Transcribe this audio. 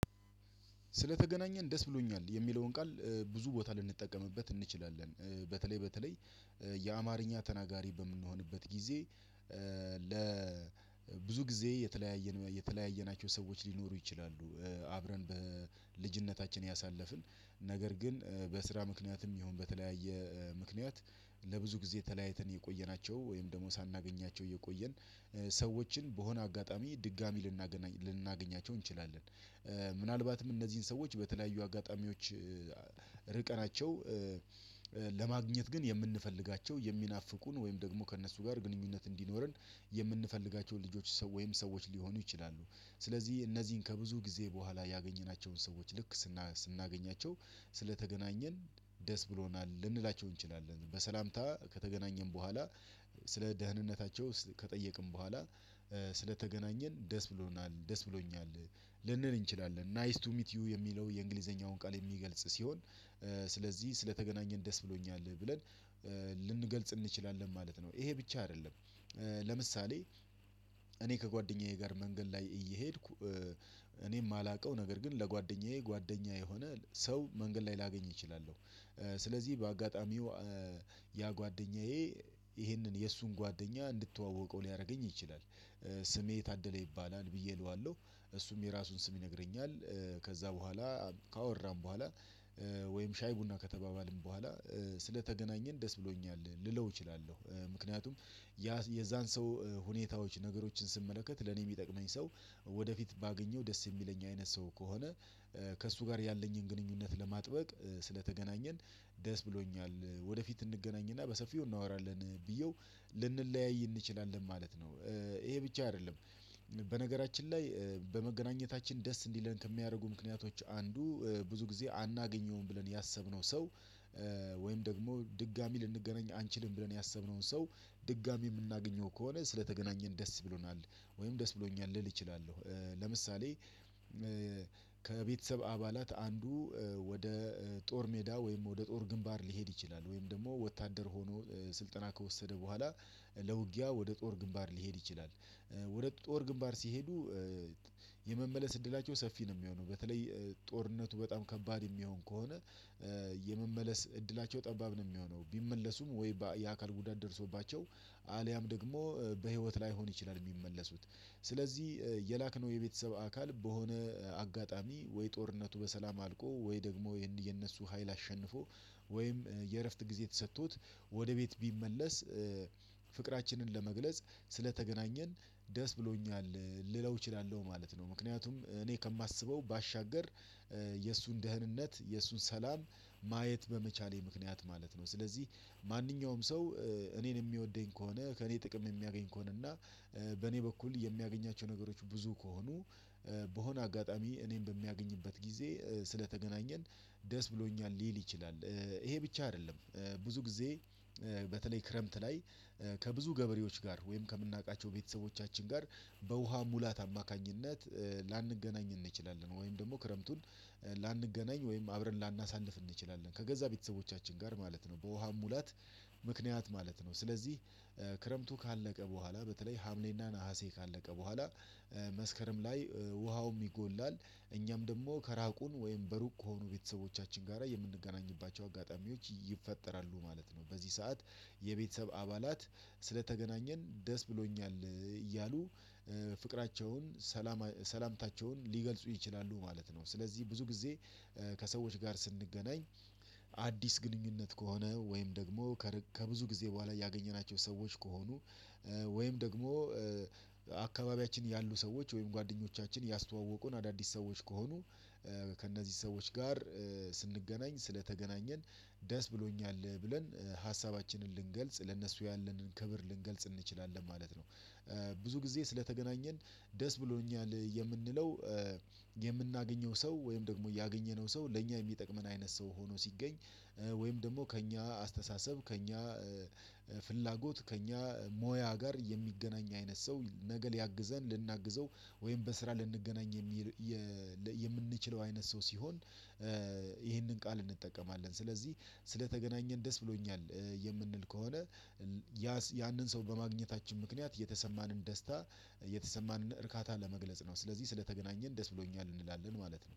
ስለተገናኘን ደስ ብሎኛል የሚለውን ቃል ብዙ ቦታ ልንጠቀምበት እንችላለን በተለይ በተለይ የአማርኛ ተናጋሪ በምንሆንበት ጊዜ ለብዙ ጊዜ የተለያየን የተለያየናቸው ሰዎች ሊኖሩ ይችላሉ። አብረን በልጅነታችን ያሳለፍን ነገር ግን በስራ ምክንያትም ይሁን በተለያየ ምክንያት ለብዙ ጊዜ ተለያይተን የቆየናቸው ወይም ደግሞ ሳናገኛቸው እየቆየን ሰዎችን በሆነ አጋጣሚ ድጋሚ ልናገናኛ ልናገኛቸው እንችላለን። ምናልባትም እነዚህን ሰዎች በተለያዩ አጋጣሚዎች ርቀናቸው ለማግኘት ግን የምንፈልጋቸው የሚናፍቁን ወይም ደግሞ ከእነሱ ጋር ግንኙነት እንዲኖረን የምንፈልጋቸውን ልጆች ሰው ወይም ሰዎች ሊሆኑ ይችላሉ። ስለዚህ እነዚህን ከብዙ ጊዜ በኋላ ያገኘናቸውን ሰዎች ልክ ስናገኛቸው ስለተገናኘን ደስ ብሎናል ልንላቸው እንችላለን በሰላምታ ከተገናኘን በኋላ ስለ ደህንነታቸው ከጠየቅን በኋላ ስለተገናኘን ደስ ብሎናል ደስ ብሎኛል ልንል እንችላለን። ናይስ ቱ ሚት ዩ የሚለው የእንግሊዘኛውን ቃል የሚገልጽ ሲሆን ስለዚህ ስለተገናኘን ደስ ብሎኛል ብለን ልንገልጽ እንችላለን ማለት ነው። ይሄ ብቻ አይደለም። ለምሳሌ እኔ ከጓደኛዬ ጋር መንገድ ላይ እየሄድኩ እኔ የማላውቀው ነገር ግን ለጓደኛዬ ጓደኛ የሆነ ሰው መንገድ ላይ ላገኝ እችላለሁ። ስለዚህ በአጋጣሚው ያ ጓደኛዬ ይሄንን የእሱን ጓደኛ እንድተዋወቀው ሊያደርገኝ ይችላል። ስሜ ታደለ ይባላል ብዬ እለዋለሁ እሱም የራሱን ስም ይነግረኛል ከዛ በኋላ ካወራን በኋላ ወይም ሻይ ቡና ከተባባልን በኋላ ስለተገናኘን ደስ ብሎኛል ልለው እችላለሁ። ምክንያቱም ያ የዛን ሰው ሁኔታዎች ነገሮችን ስመለከት ለኔ የሚጠቅመኝ ሰው ወደፊት ባገኘው ደስ የሚለኝ አይነት ሰው ከሆነ ከእሱ ጋር ያለኝን ግንኙነት ለማጥበቅ ስለተገናኘን ደስ ብሎኛል። ወደፊት እንገናኝና በሰፊው እናወራለን ብዬው ልንለያይ እንችላለን ማለት ነው። ይሄ ብቻ አይደለም። በነገራችን ላይ በመገናኘታችን ደስ እንዲለን ከሚያደርጉ ምክንያቶች አንዱ ብዙ ጊዜ አናገኘውም ብለን ያሰብነው ሰው ወይም ደግሞ ድጋሚ ልንገናኝ አንችልም ብለን ያሰብነውን ሰው ድጋሚ የምናገኘው ከሆነ ስለተገናኘን ደስ ብሎናል ወይም ደስ ብሎኛል ልል እችላለሁ። ለምሳሌ ከቤተሰብ አባላት አንዱ ወደ ጦር ሜዳ ወይም ወደ ጦር ግንባር ሊሄድ ይችላል ወይም ደግሞ ወታደር ሆኖ ስልጠና ከወሰደ በኋላ ለውጊያ ወደ ጦር ግንባር ሊሄድ ይችላል። ወደ ጦር ግንባር ሲሄዱ የመመለስ እድላቸው ሰፊ ነው የሚሆነው በተለይ ጦርነቱ በጣም ከባድ የሚሆን ከሆነ። የመመለስ እድላቸው ጠባብ ነው የሚሆነው ቢመለሱም ወይ የአካል ጉዳት ደርሶባቸው አልያም ደግሞ በህይወት ላይሆን ይችላል የሚመለሱት። ስለዚህ የላክነው የቤተሰብ አካል በሆነ አጋጣሚ ወይ ጦርነቱ በሰላም አልቆ ወይ ደግሞ የነሱ ሀይል አሸንፎ ወይም የእረፍት ጊዜ ተሰቶት ወደ ቤት ቢመለስ ፍቅራችንን ለመግለጽ ስለተገናኘን ደስ ብሎኛል። ልለው እችላለሁ ማለት ነው ምክንያቱም እኔ ከማስበው ባሻገር የሱን ደህንነት የእሱን ሰላም ማየት በመቻሌ ምክንያት ማለት ነው። ስለዚህ ማንኛውም ሰው እኔን የሚወደኝ ከሆነ ከእኔ ጥቅም የሚያገኝ ከሆነ እና በእኔ በኩል የሚያገኛቸው ነገሮች ብዙ ከሆኑ በሆነ አጋጣሚ እኔን በሚያገኝበት ጊዜ ስለተገናኘን ደስ ብሎኛል ሊል ይችላል። ይሄ ብቻ አይደለም። ብዙ ጊዜ በተለይ ክረምት ላይ ከብዙ ገበሬዎች ጋር ወይም ከምናውቃቸው ቤተሰቦቻችን ጋር በውሃ ሙላት አማካኝነት ላንገናኝ እንችላለን ወይም ደግሞ ክረምቱን ላንገናኝ ወይም አብረን ላናሳንፍ እንችላለን ከገዛ ቤተሰቦቻችን ጋር ማለት ነው። በውሃ ሙላት ምክንያት ማለት ነው። ስለዚህ ክረምቱ ካለቀ በኋላ በተለይ ሀምሌና ነሀሴ ካለቀ በኋላ መስከረም ላይ ውሃውም ይጎላል እኛም ደግሞ ከራቁን ወይም በሩቅ ከሆኑ ቤተሰቦቻችን ጋራ የምንገናኝባቸው አጋጣሚዎች ይፈጠራሉ ማለት ነው። በዚህ ሰዓት የቤተሰብ አባላት ስለተገናኘን ደስ ብሎኛል እያሉ ፍቅራቸውን ሰላም ሰላምታቸውን ሊገልጹ ይችላሉ ማለት ነው። ስለዚህ ብዙ ጊዜ ከሰዎች ጋር ስንገናኝ አዲስ ግንኙነት ከሆነ ወይም ደግሞ ከብዙ ጊዜ በኋላ ያገኘናቸው ሰዎች ከሆኑ ወይም ደግሞ አካባቢያችን ያሉ ሰዎች ወይም ጓደኞቻችን ያስተዋወቁን አዳዲስ ሰዎች ከሆኑ ከእነዚህ ሰዎች ጋር ስንገናኝ ስለተገናኘን ደስ ብሎኛል ብለን ሀሳባችንን ልንገልጽ ለእነሱ ያለንን ክብር ልንገልጽ እንችላለን ማለት ነው። ብዙ ጊዜ ስለተገናኘን ደስ ብሎኛል የምንለው የምናገኘው ሰው ወይም ደግሞ ያገኘነው ሰው ለእኛ የሚጠቅመን አይነት ሰው ሆኖ ሲገኝ ወይም ደግሞ ከእኛ አስተሳሰብ ከእኛ ፍላጎት ከእኛ ሞያ ጋር የሚገናኝ አይነት ሰው ነገ ሊያግዘን ልናግዘው ወይም በስራ ልንገናኝ የምንችለው አይነት ሰው ሲሆን ይሄንን ቃል እንጠቀማለን ስለዚህ ስለተገናኘን ደስ ብሎኛል። የምንል ከሆነ ያንን ሰው በማግኘታችን ምክንያት የተሰማንን ደስታ የተሰማንን እርካታ ለመግለጽ ነው። ስለዚህ ስለተገናኘን ደስ ብሎኛል እንላለን ማለት ነው